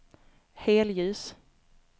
helljus